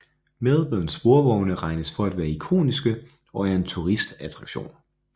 Melbournes sporvogne regnes for at være ikoniske og er en turistattraktion